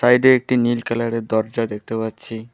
সাইড-এ একটি নীল কালার -এর দরজা দেখতে পাচ্ছি।